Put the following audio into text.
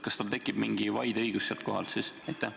Kas tekib mingi vaideõigus sel juhul?